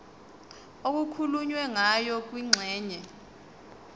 okukhulunywe ngayo kwingxenye